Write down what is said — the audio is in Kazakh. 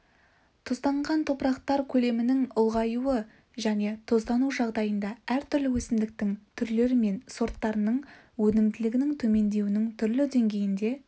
тұзданған топырақтар көлемінің ұлғаюы және тұздану жағдайда әртүрлі өсімдік түрлері мен сорттарының өнімділігінің төмендеуінің түрлі деңгейінде